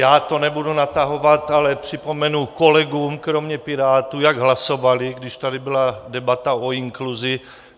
Já to nebudu natahovat, ale připomenu kolegům kromě Pirátů, jak hlasovali, když tady byla debata o inkluzi.